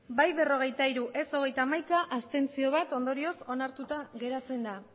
bai berrogeita hiru ez hogeita hamaika abstentzioak bat ondorioz onartuta geratzen da